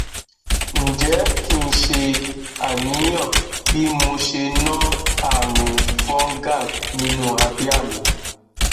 nje ki se aniyan bi mo se no arun fungal ninu abia mi